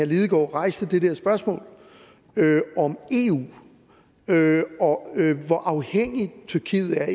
lidegaard rejste det der spørgsmål om eu og hvor afhængig tyrkiet er